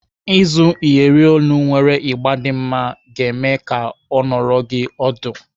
Ịzụ Iyeri olu nwere ịgba dị mma ga-eme ka ọ nọrọ gị ọdụ.